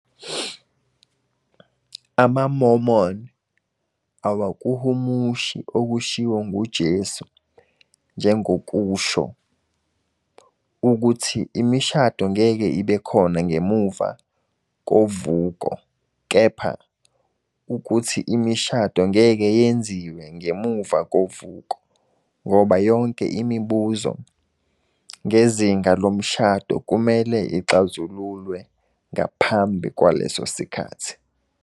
AmaMormon awakuhumushi okushiwo nguJesu njengokusho "ukuthi imishado ngeke ibe "khona" ngemuva kovuko, kepha ukuthi imishado ngeke "yenziwe" ngemuva kovuko, ngoba yonke imibuzo ngezinga lomshado kumele ixazululwe ngaphambi kwalesosikhathi."